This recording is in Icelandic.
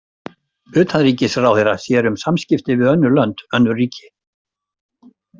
Utanríkisráðherra sér um samskipti við önnur lönd, önnur ríki.